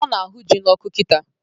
Ọ na ahụ ji n'ọkụ kịta